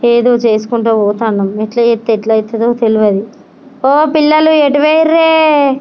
ఏదో చేసుకుంటా పోతున్నాము ఎట్లా చెప్తే అట్లా ఏదో తెలియదు ఓ పిల్లలు ఎటు పోయిండ్రు.